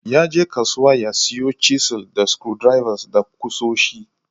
Yaje kasuwa ya siyo chisels da screwdrivers da kusoshi.